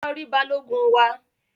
Lọ ri balogun wa!